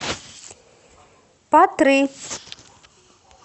патры